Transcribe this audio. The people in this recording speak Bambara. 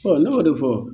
ne b'o de fɔ